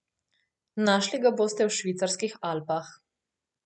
Našli ga boste v švicarskih Alpah.